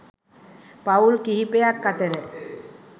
පවුල් කිහිපයක් අතර